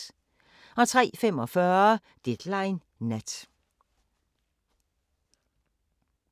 03:45: Deadline Nat